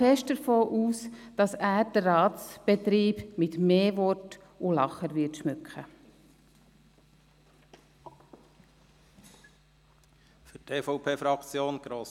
Ich gehe stark davon aus, dass er den Ratsbetrieb mit mehr Worten und Lachern schmücken wird.